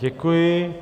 Děkuji.